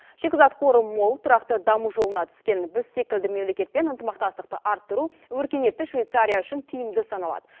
шикізат қоры мол тұрақты даму жолына түскен біз секілді мемлекетпен ынтымақтастықты арттыру өркениетті швейцария үшін тиімді саналады